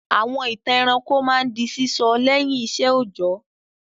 Àwọn ìtàn ẹranko máa ń di sísọ lẹ́yìn iṣẹ́ òjọ́.